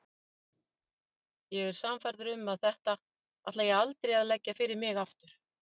Ég er sannfærður um að þetta ætla ég aldrei að leggja fyrir mig aftur.